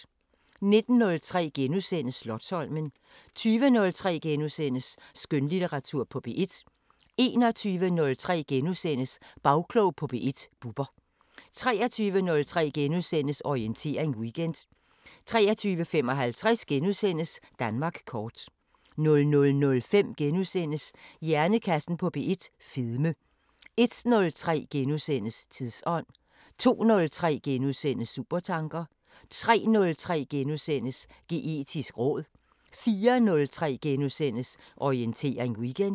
19:03: Slotsholmen * 20:03: Skønlitteratur på P1 * 21:03: Bagklog på P1: Bubber * 23:03: Orientering Weekend * 23:55: Danmark kort * 00:05: Hjernekassen på P1: Fedme * 01:03: Tidsånd * 02:03: Supertanker * 03:03: Geetisk råd * 04:03: Orientering Weekend *